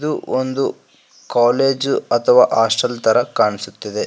ಇದು ಒಂದು ಕಾಲೇಜು ಅಥವಾ ಹಾಸ್ಟೆಲ್ ತರ ಕಾಣಿಸುತ್ತಿದೆ.